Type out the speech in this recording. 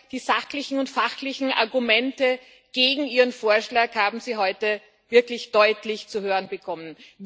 Die sachlichen und fachlichen Argumente gegen Ihren Vorschlag haben Sie heute wirklich deutlich zu hören bekommen.